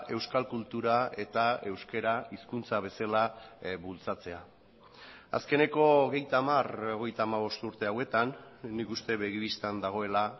euskal kultura eta euskara hizkuntza bezala bultzatzea azkeneko hogeita hamar hogeita hamabost urte hauetan nik uste begi bistan dagoela